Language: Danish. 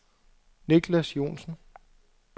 Nicklas Joensen